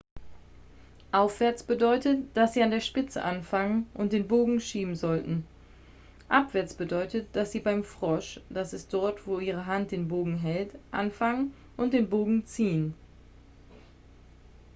aufwärts bedeutet dass sie an der spitze anfangen und den bogen schieben sollten. abwärts bedeutet dass sie beim frosch das ist dort wo ihre hand den bogen hält anfangen und den bogen ziehen